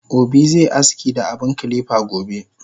Obi ze aski da abun kilipa gobe